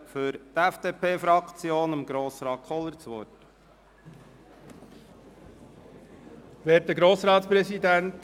Ich gebe für die FDP-Fraktion Grossrat Kohler das Wort.